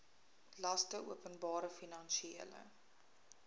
laste openbare finansiële